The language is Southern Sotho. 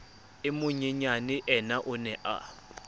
e monyenyaneyena o ne a